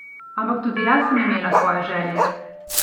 Ampak tudi jaz sem imela svoje želje!